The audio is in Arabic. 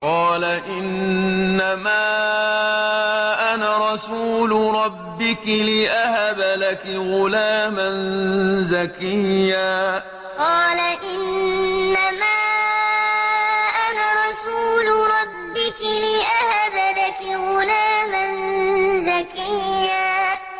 قَالَ إِنَّمَا أَنَا رَسُولُ رَبِّكِ لِأَهَبَ لَكِ غُلَامًا زَكِيًّا قَالَ إِنَّمَا أَنَا رَسُولُ رَبِّكِ لِأَهَبَ لَكِ غُلَامًا زَكِيًّا